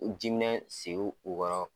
U jiminɛn sigi u kɔrɔ